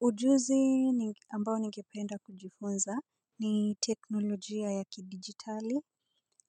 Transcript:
Ujuzi ambao ningependa kujifunza ni teknolojia ya kidigitali,